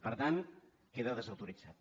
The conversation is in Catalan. per tant queda desautoritzat